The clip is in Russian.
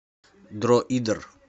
дроидер